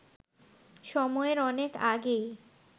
সময়ের অনেক আগেই